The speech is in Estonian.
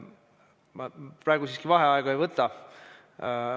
Ma praegu siiski vaheaega ei võta.